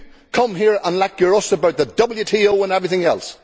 come here and lecture us about the WTO and everything else.